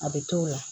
A bɛ t'o la